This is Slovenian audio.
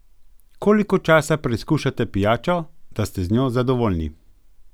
Koliko časa preizkušate pijačo, da ste z njo zadovoljni?